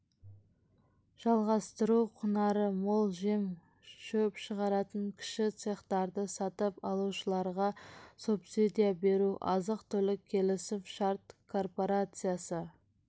жалғастыру құнары мол жем шөп шығаратын кіші цехтарды сатып алушыларға субсидия беру азық-түлік келісім-шарт корпорациясы